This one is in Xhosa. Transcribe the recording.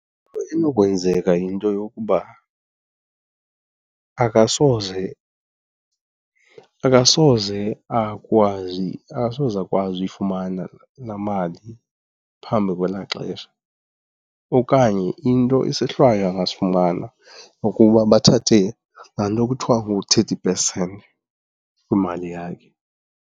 enokwenzeka yinto yokuba akasoze, akasoze akwazi, akasose akwazi uyifumana laa mali phambi kwelaa xesha okanye into, isohlwayo angasifumana kukuba bathathe laa nto kuthiwa ngu-thirty percent kwimali yakhe.